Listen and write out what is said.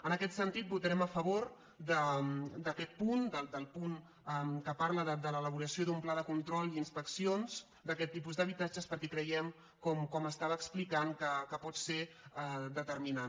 en aquest sentit vota·rem a favor d’aquest punt del punt que parla de l’ela·boració d’un pla de control i inspeccions d’aquest ti·pus d’habitatges perquè creiem com explicava que pot ser determinant